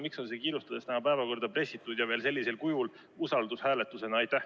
Miks on see kiirustades tänasesse päevakorda pressitud ja veel usaldushääletusena?